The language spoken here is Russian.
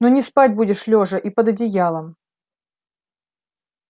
но не спать будешь лёжа и под одеялом